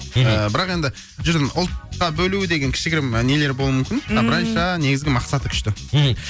мхм бірақ енді ұлтқа бөлу деген кішігірім нелер болуы мүмкін а былайынша негізі мақсаты күшті мхм